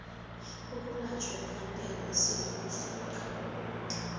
ukulatjhwa kwekankere esewula afrikha